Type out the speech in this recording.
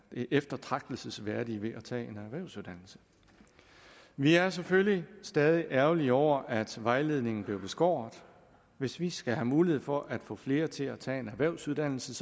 eftertragtelsesværdige ved at tage en erhvervsuddannelse vi er selvfølgelig stadig ærgerlige over at vejledningen blev beskåret hvis vi skal have mulighed for at få flere til at tage en erhvervsuddannelse